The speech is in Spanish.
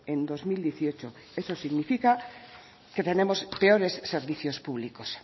en dos mil dieciocho eso significa que tenemos peores servicios públicos